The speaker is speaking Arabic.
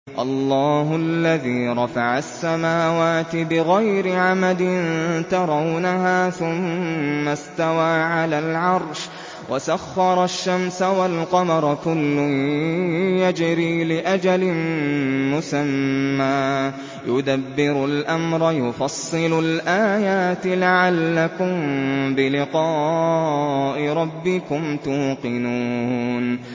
اللَّهُ الَّذِي رَفَعَ السَّمَاوَاتِ بِغَيْرِ عَمَدٍ تَرَوْنَهَا ۖ ثُمَّ اسْتَوَىٰ عَلَى الْعَرْشِ ۖ وَسَخَّرَ الشَّمْسَ وَالْقَمَرَ ۖ كُلٌّ يَجْرِي لِأَجَلٍ مُّسَمًّى ۚ يُدَبِّرُ الْأَمْرَ يُفَصِّلُ الْآيَاتِ لَعَلَّكُم بِلِقَاءِ رَبِّكُمْ تُوقِنُونَ